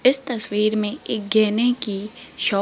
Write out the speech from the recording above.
इस तस्वीर में एक गहने की शॉप --